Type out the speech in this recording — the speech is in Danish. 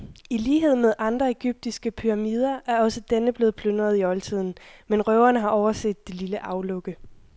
I lighed med andre egyptiske pyramider er også denne blevet plyndret i oldtiden, men røverne har overset det lille aflukke.